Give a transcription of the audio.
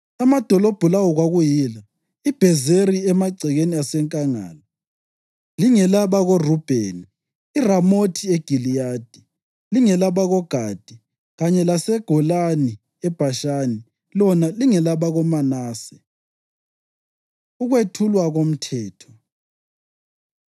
Amadolobho lawo kwakuyila: iBhezeri emagcekeni asenkangala, lingelabakoRubheni; iRamothi eGiliyadi, lingelabakoGadi; kanye lelaseGolani eBhashani lona lingelabakoManase. Ukwethulwa KoMthetho